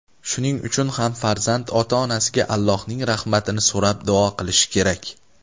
Shuning uchun ham farzand ota-onasiga Allohning rahmatini so‘rab duo qilishi kerak.